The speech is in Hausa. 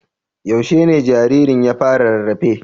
Yaushe ne jaririn ya fara rarrafe?